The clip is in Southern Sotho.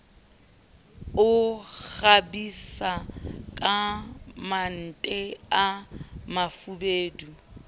o kgabisa kamalente a mafubedu